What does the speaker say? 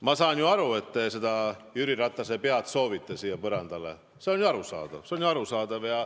Ma saan ju aru, et te soovite Jüri Ratase pead siia põrandale, see on arusaadav.